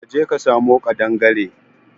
ka je ka samo kadangaren.